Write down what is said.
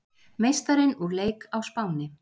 Meistarinn úr leik á Spáni